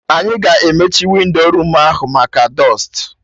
Anyị ga-emechi windo room ahụ maka dọstụ